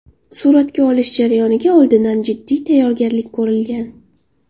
Suratga olish jarayoniga oldindan jiddiy tayyorgarlik ko‘rilgan.